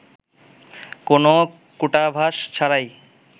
কোনো কূটাভাস ছাড়াই